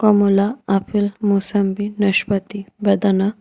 মূলা আপেল মুসাম্বি নাশপাতি বেদানা--